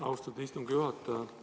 Austatud istungi juhataja!